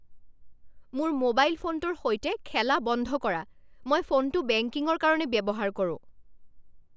মোৰ মোবাইল ফোনটোৰ সৈতে খেলা বন্ধ কৰা। মই ফোনটো বেংকিঙৰ কাৰণে ব্যৱহাৰ কৰোঁ।